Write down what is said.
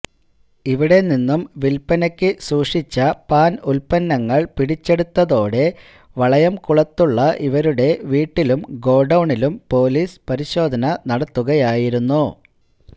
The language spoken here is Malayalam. ഇവിടെ നിന്നും വില്പനക്ക് സൂക്ഷിച്ച പാന് ഉത്പന്നങ്ങള് പിടിച്ചെടുത്തതോടെ വളയംകുളത്തുള്ള ഇവരുടെ വീട്ടിലും ഗോഡൌണിലും പോലീസ് പരിശോധന നടത്തുകയായിരുന്നു